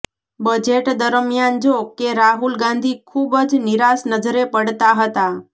budget દરમિયાન જો કે રાહુલ ગાંધી ખુબ જ નિરાશ નજરે પડતા હતાં